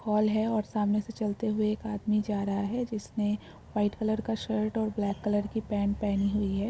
Hall है और सामने से चलते हुए एक आदमी जा रहा है जिसने व्हाइट कलर का शर्ट और ब्लैक कलर की पैंट पहनी हुई है।